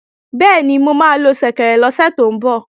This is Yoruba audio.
Bẹ́ẹ̀ni, mo máa lo ṣẹ̀kẹ̀rẹ̀ lọ́sẹ̀ tó ń bọ̀